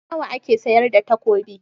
Nawa ake sayar da takobi?